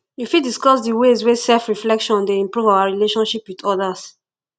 you fit discuss di ways wey selfreflection dey improve our relationships with odas